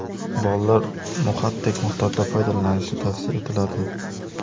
Bolalar no‘xatdek miqdorda foydalanishi tavsiya etiladi”.